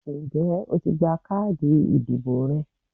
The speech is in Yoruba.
Ǹjé o ti gba káàdì ìdìbò rẹ?